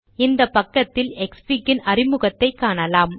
இந்தப் பக்கத்தில் க்ஸ்ஃபிக் ன் அறிமுகத்தை காணலாம்